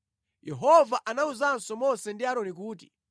Yehova anawuzanso Mose ndi Aaroni kuti,